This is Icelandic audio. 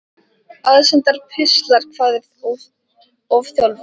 Aðsendir pistlar Hvað er ofþjálfun?